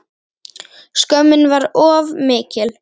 Skömmin var of mikil.